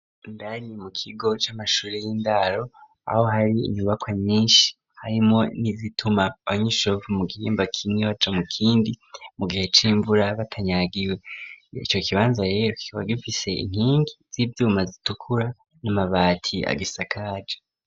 Indani mu kigo c'amashure y'indaro aho hari inyubako nyinshi harimwo nizituma abanyeshure bo ku mugimba kimwe baca mu kindi mu gihe c'imvura batanyagiwe ico kibanza rero kikaba gifise inkingi z'ivyuma zitukura n'amabati agisakaje.